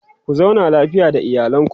ku zauna lafiya da iyalanku